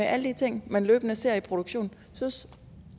alle de ting man løbende ser i produktionen synes